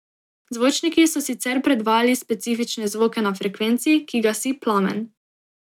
Zvočniki so sicer predvajali specifične zvoke na frekvenci, ki gasi plamen.